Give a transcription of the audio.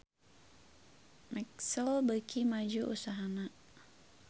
Maxell beuki maju usahana